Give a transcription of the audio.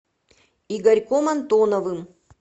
игорьком антоновым